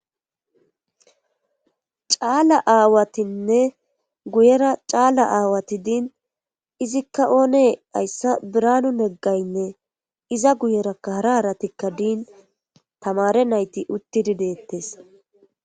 caala aawatinne guyera caala aawati diin izikka oone hayssa biranu neggaynne iza guyerakka hara aratikka diin tamare nayti uttidi deettes